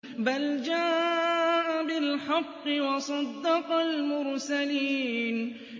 بَلْ جَاءَ بِالْحَقِّ وَصَدَّقَ الْمُرْسَلِينَ